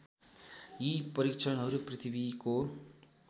यी परीक्षणहरू पृथ्वीको